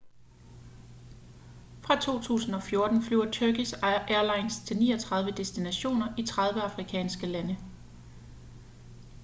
fra 2014 flyver turkish airlines til 39 destinationer i 30 afrikanske lande